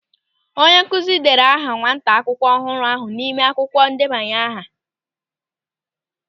Onye nkụzi dere aha nwata akwụkwọ ọhụrụ ahụ n'ime akwụkwọ ndebanye aha.